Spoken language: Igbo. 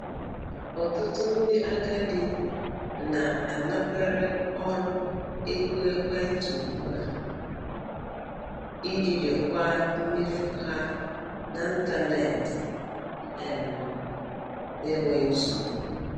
Ọtụtụ ndị agadi na-anakwere ọrụ ego ekwentị ugbu a iji jikwaa mmefu ha na ntanetị um n'enweghị nsogbu.